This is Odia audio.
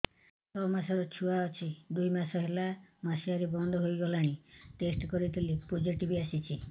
ଛଅ ମାସର ଛୁଆ ଅଛି ଦୁଇ ମାସ ହେଲା ମାସୁଆରି ବନ୍ଦ ହେଇଗଲାଣି ଟେଷ୍ଟ କରିଥିଲି ପୋଜିଟିଭ ଆସିଛି